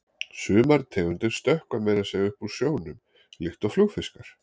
Sumar tegundir stökkva meira að segja upp úr sjónum, líkt og flugfiskar.